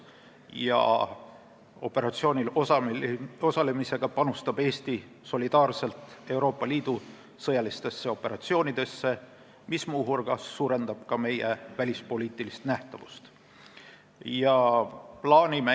Sellel operatsioonil osalemisega panustab Eesti solidaarselt Euroopa Liidu sõjalistesse operatsioonidesse, mis muu hulgas suurendab ka meie välispoliitilist nähtavust.